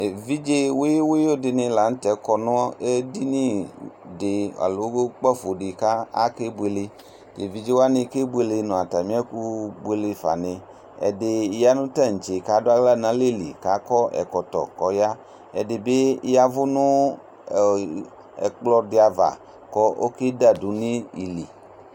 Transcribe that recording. ɛvidzɛ wuyuwuyu ɗinilɑtɛ ƙɔɲɛɗiniɗi ɑllọ kpɑfoɗi kɑkɛbuɛlɛ nɲɑtamiɛ kubuɛlɛfɑni, ɛɗiyɑ nutɑɲtsɛ kɑɗuhlɑ ɲɑlɛli ka kɔ ɛkotokɔyɑ ɛɗibiyɑwω nɛkploɗiɑvɑ ku ɔkɛḍɑdunivili